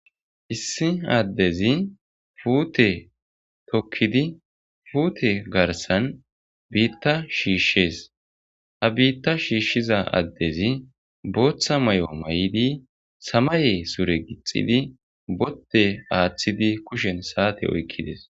Issi addezi puute tokkidi puute garsan biita shiishees. Ha biita shiishiza addezi bootha mayo mayidi samaye sure gixxidi kushen saate oykides.